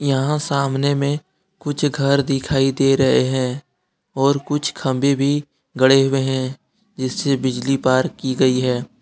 यहां सामने में कुछ घर दिखाई दे रहे हैं और कुछ खंभे भी गढ़े हुए हैं जिससे बिजली पार की गई है।